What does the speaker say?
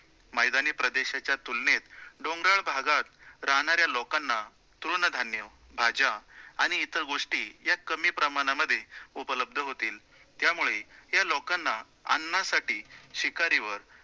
मैदानी प्रदेशाच्या तुलनेत डोंगराळ भागात राहणाऱ्या लोकांना तृणधान्य, भाज्या आणि इतर गोष्टी या कमी प्रमाणामध्ये उपलब्ध होतील, त्यामुळे या लोकांना अन्नासाठी शिकारीवर